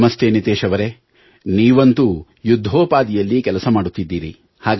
ನಮಸ್ತೆ ನಿತೇಶ್ ಅವರೇ ನೀವಂತೂ ಯುದ್ಧೋಪಾದಿಯಲ್ಲಿ ಕೆಲಸ ಮಾಡುತ್ತಿದ್ದೀರಿ